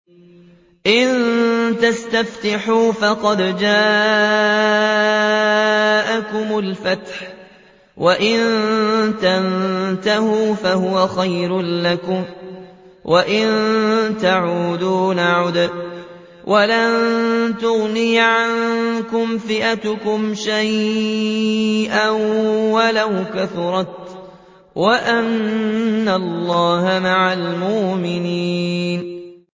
إِن تَسْتَفْتِحُوا فَقَدْ جَاءَكُمُ الْفَتْحُ ۖ وَإِن تَنتَهُوا فَهُوَ خَيْرٌ لَّكُمْ ۖ وَإِن تَعُودُوا نَعُدْ وَلَن تُغْنِيَ عَنكُمْ فِئَتُكُمْ شَيْئًا وَلَوْ كَثُرَتْ وَأَنَّ اللَّهَ مَعَ الْمُؤْمِنِينَ